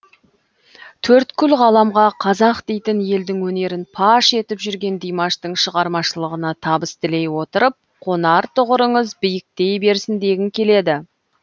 төрткүл ғаламға қазақ дейтін елдің өнерін паш етіп жүрген димаштың шығармашылығына табыс тілей отырып қонар тұғырыңыз биіктей берсін дегім келеді